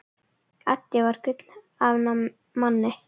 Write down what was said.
Addi var gull af manni.